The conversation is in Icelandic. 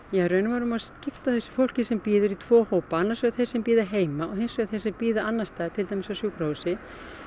í raun og veru má skipta þessu fólki sem bíður í tvo hópa annars vegar þeir sem bíða heima og hins vegar þeir sem bíða annars staðar til dæmis á sjúkrahúsi